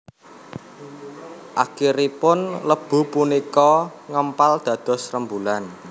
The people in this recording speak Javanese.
Akhiripun lebu punika ngempal dados rembulan